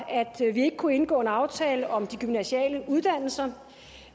at vi ikke kunne indgå en aftale om de gymnasiale uddannelser